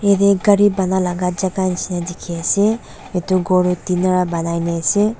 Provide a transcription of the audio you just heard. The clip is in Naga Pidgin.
yatae gari banalaka jaka nishina ase edu la khor toh tina pa banai la ase.